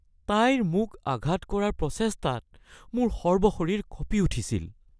তাইৰ মোক আঘাত কৰাৰ প্ৰচেষ্টাত মোৰ সৰ্বশৰীৰ কঁপি উঠিছিল।